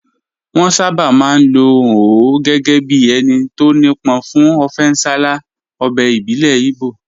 Wọ́n sábà máa ń lò ó gẹ́gẹ́ bí ẹni tó nípọn fún ọfẹ nsala, ọbẹ̀ ìbílẹ̀ Igbo